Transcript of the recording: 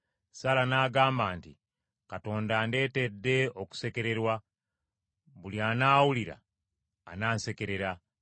Saala n’agamba nti, “Katonda andeetedde okusekererwa, buli anaawulira anansekerera.”